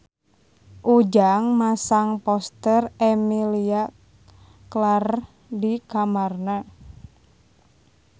Ujang masang poster Emilia Clarke di kamarna